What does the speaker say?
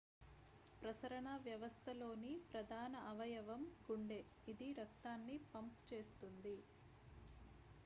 ప్రసరణ వ్యవస్థలోని ప్రధాన అవయవం గుండె ఇది రక్తాన్ని పంప్ చేస్తుంది